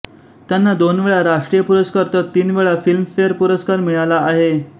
त्यांना दोन वेळा राष्ट्रीय पुरस्कार तर तीन वेळा फिल्मफेअर पुरस्कार मिळाला आहे